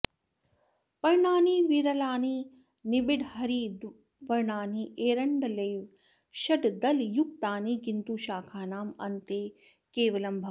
पर्णानि विरलानि निबिडहरिद्वर्णानि एरण्डलेव षड्दलयुक्तानि किन्तु शाखानाम् अन्ते केवलं भवन्ति